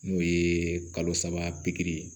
N'o ye kalo saba pikiri